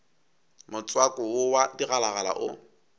motswako wo wa digalagala o